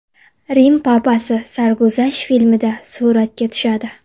Rim papasi sarguzasht filmda suratga tushadi.